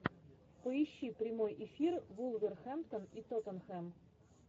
поищи прямой эфир вулверхэмптон и тоттенхэм